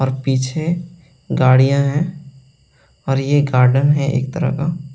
और पीछे गाड़ियां हैं और यह गार्डन है एक तरह का -----